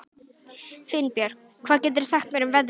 Finnbjörk, hvað geturðu sagt mér um veðrið?